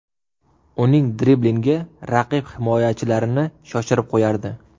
Uning driblingi raqib himoyachilarini shoshirib qo‘yardi.